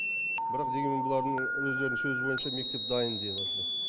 бірақ дегенмен бұлардың өздерінің сөзі бойынша мектеп дайын деватыр